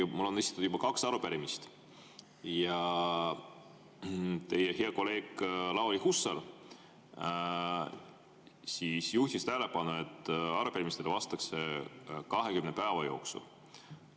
Ma olen esitanud kaks arupärimist ja teie hea kolleeg Lauri Hussar juhtis tähelepanu, et arupärimistele vastatakse 20 päeva jooksul.